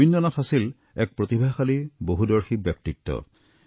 ৰবীন্দ্ৰনাথৰ আছিল এক প্ৰতিভাশালী বহুদৰ্শী ব্যক্তিত্ব